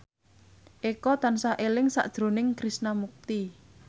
Eko tansah eling sakjroning Krishna Mukti